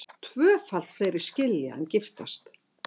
Tvöfalt fleiri skilja en giftast